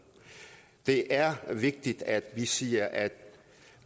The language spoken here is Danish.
det er vigtigt at vi siger at